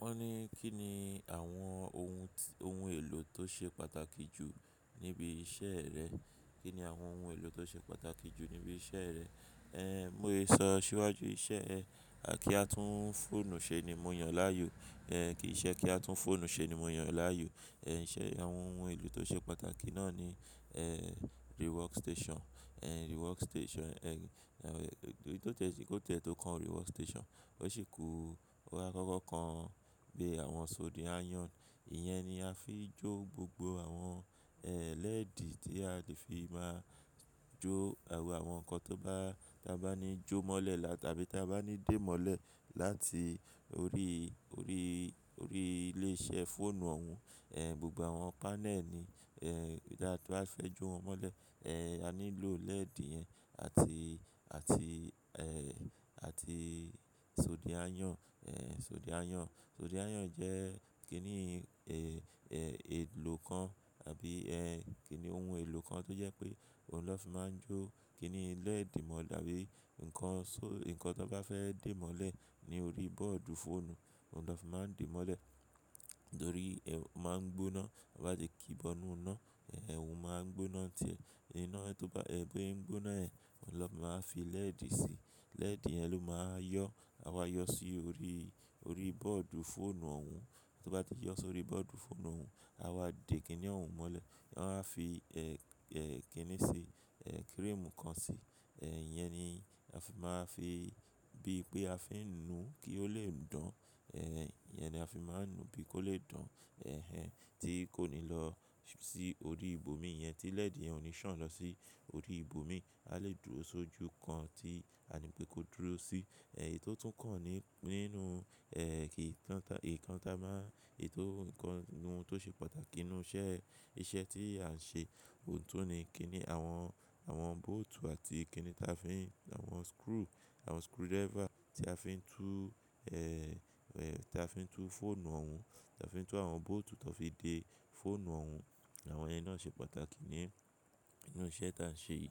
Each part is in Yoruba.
Wọ́n ní kí ni àwọn ohun, ohun èlò tó ṣe pàtàkì jù níbi iṣẹ́ rẹ? Kí ni àwọn ohun èlò tó ṣe pàtàkì jù níbi iṣẹ́ rẹ? Mo lè sọ aṣiwájú iṣẹ́ ẹ kí a tún fóònù ṣe ni mo yàn láàyò, kìí iṣe kí a tún fóònù ṣe ni mo yàn láàyò. Ṣé àwọn ohun èlò tó ṣe pàtàkì náà ni rework station, rework station. Tó kan rework station, ó ṣì ku. Bóy lọ́wọ́ kan bi àwọn soldering iron. Ìyẹn ni a fi jó gbogbo àwọn ee lẹ́ẹ̀dì tí a lè fi máa jó àwọn nǹkan tó bá, tí a bá ní jó mọ́lẹ̀ lá tàbí tí a bá ní dé mọ́lẹ̀ láti orí, orí, orí ilé iṣẹ́ fóònù òun. Gbogbo àwọn panel ni ee tí a bá fẹ́ jó wọn mọ́lẹ̀, a nílò lẹ́ẹ̀dì yẹn àti àti àti ee soldering iron, soldering iron. Soldering iron jẹ́ kíni èlò kan àbí kíni ohun èlò kan tó jẹ́ pé òun na fi máa ń jó kíni lẹ́ẹ̀dì mọ́ tabí ǹkan so-- ǹkan tó bá fẹ́ dé mọ́lẹ̀ ní orí bọ́ọ̀dù fóònù, òun lọ fi máa ń dé mọ́lẹ̀ torí o máa ń gbóná tie bá ti kí í bọ inú iná, òun máa ń gbóná tiẹ́. Iná tí ó bá, bose n gbóná yẹn, òun na fi máa fi lẹ́ẹ̀dì si. Lẹ́ẹ̀dì yẹn ló máa wa yọ, àwa yọ sí orí, orí bọ́ọ̀dù fóònù òun. Tó bá ti yọ sórí bọ́ọ̀dù fóònù òun, àwa dè kíni òun mọ́lẹ̀. Wọn a fi kíni ṣe cream kan sí. Ìyẹn ni a fi máa fi bí pé a fi ń nu kí ó lè dùn. Ìyẹn ni a fi máa ń nu bí kó lè dan. Tí kò ní lọ san si orí ibòmí iyẹn tí lẹ́ẹ̀dì yẹn ò ní sàn lọ sí orí ibòmí. A lè dúró sójú kan tí a ní pé kó dúró sí. Èyí tó tún kàn ní, nínú kí ìkọntà, ìkọntà má-- ètò ǹkan ohun tó ṣe pàtàkì nínú iṣẹ́, iṣẹ́ tí à ń ṣe, òun tún ni kíni àwọn, àwọn bóòtù àti kíni táa fi ń, àwọn screw, àwọn screwdriver tí a fi ń tú táa fi ń tú fóònù òun, táa fi ń tú àwọn bóòtù tan fi dé fóònù òun. Àwọn iyẹn náà ṣe pàtàkì ní, ínú iṣẹ́ tí à ń ṣe yi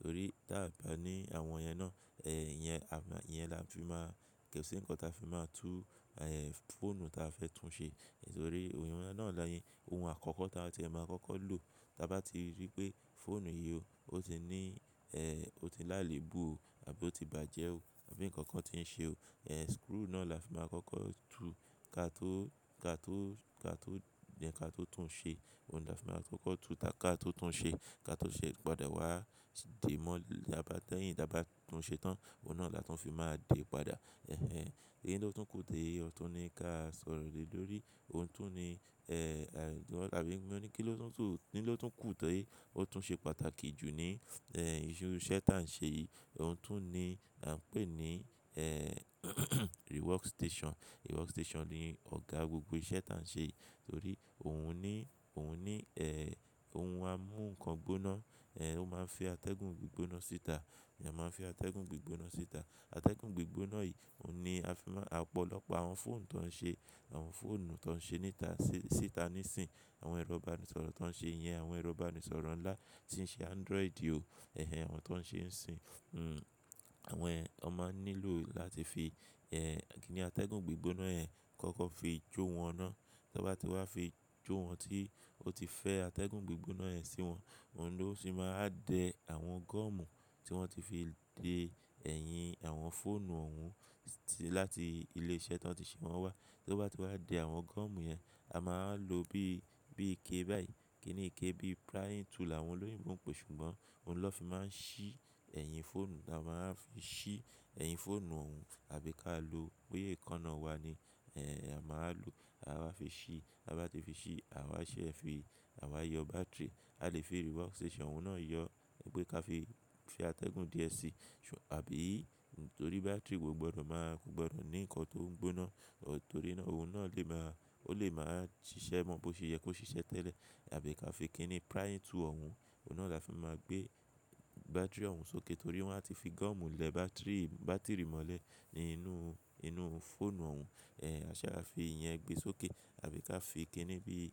torí ta a bá ní àwọn iyẹn náà, ìyẹn, ìyẹn là ń fi máa, kosi ǹkan ta fi máa tú fóònù ta fẹ́ tún ṣe. Nítorí òun náà ni, ohun àkọ́kọ́ ta tí ẹ máa kọ́kọ́ lò. Taa bá ti rí pé fóònù yìí o, ó ti ní ee o ti lále bú o àbí ó ti bàjẹ́ o àbí nǹkan kan ti ń ṣe o, screw náà la fi máa kọ́kọ́ tú ká tó, ká tó, ká tó then ká tó tún ṣe. Ohun la fi máa kọ́kọ́ tú ta ká tó tún ṣe. Ká tó ṣe pada wá dè mọ́ lábà tán yìí, lábà tún ṣe tán. Ohun náà la tún fi máa de padà. Eyi tó tún kù tẹ́ẹ̀, òun tún ní ká sọ̀rọ̀ lè lórí, òun tún ní àbí mo ní kí ló tún sùn, kí ló tún kù tẹ́ẹ̀, òun tún ṣe pàtàkì jù ní iṣẹ́ tá ń ṣe yìí. Òun tún ni à ń pè ní rework station. Rework station ni ọ̀gá gbogbo iṣẹ́ tá ń ṣe yìí torí òun ní, òun ní ohun amú nǹkan gbóná, ó máa ń fi atẹ́gùn gbí gbóná síta. Ìyẹn máa ń fi atẹ́gùn gbí gbóná síta. Atẹ́gùn gbí gbóná yìí òun ni a fi máa-- ọ̀pọ̀lọpọ̀ àwọn fóònù tó ń ṣe, àwọn fóònù tó ń ṣe níta síta níìsín, àwọn ẹrọ̀ ìbánisọ̀rọ̀ tó ń ṣe iyẹn, àwọn ẹrọ̀ ìbánisọ̀rọ̀ ńlá tí ń ṣe Android o. Àwọn tó ń ṣe ń sin. Àwọn wọn máa ń nílò láti fi kíni atẹ́gùn gbí gbóná yẹn kọ́kọ́ fi jó wọn ná. Tan bá ti wá fi jó wọn tí ó ti fẹ́ atẹ́gùn gbí gbóná yẹn sí wọn, òun ló sì máa dẹ àwọn gọ́ọ̀mù tí wọ́n ti fi de ẹ̀yìn àwọn fóònù òun sí láti ilé iṣẹ́ táa ti ṣe wọn wá. Tó bá ti wá de àwọn gọ́ọ̀mù yẹn, a máa ń lo bí, bí ike báyìí, kíni ike bí prying tool àwọn olóyún mú ń pè ṣùgbọ́n òun lọ́ fi máa ń ṣí ẹ̀yìn fóònù. A máa ń fi ṣí ẹ̀yìn fóònù òun àbí ká lo boya ekanáà wa ni a máa wa lò, a wáa fi ṣí. Ta bá ti fi ṣí, àwa ṣí ẹ fi, àwa yọ bátìrì. A lè fi rework station òun náà yọ pe ká fi fi atẹ́gùn díẹ̀ sí ṣù-- àbí nítorí bátìrì kò gbọdọ̀ máa kò gbọdọ̀ ní ǹkan tó ń gbóná torí náà ohun náà lè máa, ó lè máa ṣiṣẹ́ mọ́ bó ṣe yẹ kó ṣiṣẹ́ tẹ́lẹ̀. Àbí ká fi kíni prying tool òun, òun náà la fi máa gbé bátìrì òun sókè torí wọ́n á ti fi gọ́ọ̀mù lẹ bátìrì, bátìrì mọ́lẹ̀ nínú, nínú fóònù òun. Aṣẹ a fi ìyẹn gbé e sókè àbí ká fi kíni bí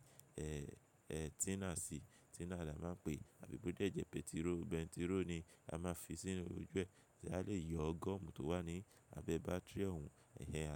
tina sí. Tina là ń máa ń pè àbí bó dé jẹ́ pẹtiró, pẹntiró ni a máa fi sínú òju ẹ. Ṣé a lè yọ gọ́ọ̀mù tó wà ní abẹ bátìrì òun. Ẹ̀hẹn a lè.